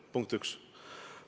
Punkt üks.